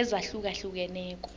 ezahlukeneko